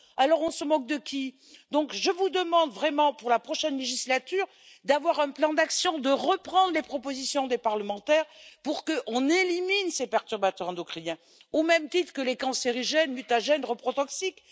De qui se moque t on? Je vous demande vraiment, pour la prochaine législature, d'avoir un plan d'action, de reprendre les propositions des parlementaires pour éliminer ces perturbateurs endocriniens, au même titre que les cancérigènes, les mutagènes et les reprotoxiques.